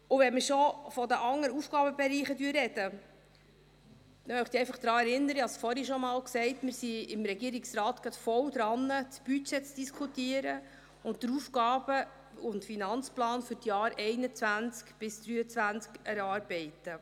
Wenn wir schon von den anderen Aufgabenbereichen sprechen, möchte ich einfach daran erinnern – ich habe es vorhin schon einmal gesagt –, dass wir im Regierungsrat gerade voll daran sind, das Budget zu diskutieren und den AFP für die Jahre 2021–2023 zu erarbeiten.